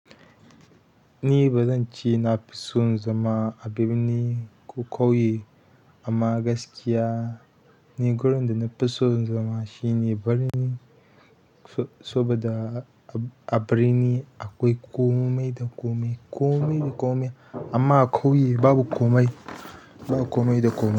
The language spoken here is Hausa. Ni bazance nafi son zama a birni ko ƙauye, amma gaskiya ni gurin da nafi son zama shine birni, so-soba da a birni akwai komai da komai, komai da komai. Amma a ƙauye babu komai, babu komai da komai.